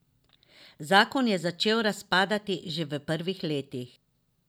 Zakon je začel razpadati že v prvih letih.